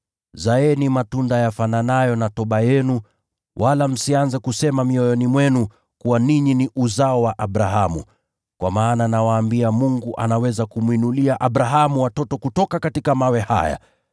Basi zaeni matunda yastahiliyo toba. Wala msianze kusema mioyoni mwenu kuwa, ‘Sisi tunaye Abrahamu, baba yetu.’ Kwa maana nawaambia kuwa Mungu anaweza kumwinulia Abrahamu watoto kutoka mawe haya.